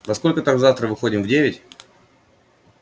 во сколько там завтра выходим в девять